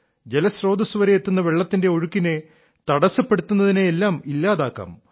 ജലസ്രോതസ്സുവരെ എത്തുന്ന വെള്ളത്തിന്റെ ഒഴുക്കിനെ തടസ്സപ്പെടുത്തുന്നതിനെയെല്ലാം ഇല്ലാതാക്കാം